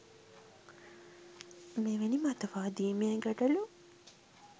මෙවැනි මතවාදීමය ගැටලු